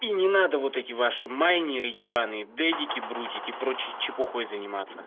и не надо вот эти ваши майнеры ебанные дедики брутики и прочей чепухой занимаюсь